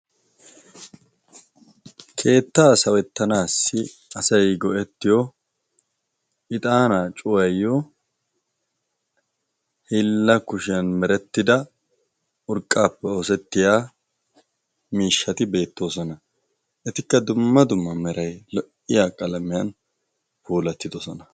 keettaa sawettanaassi asai go'ettiyo ixaanaa cuwaayyo hilla kushiyan merettida urqqaappe oosettiya miishshati beettoosona. etikka dumma dumma meray lo'iya qalamiyan puolattidosona.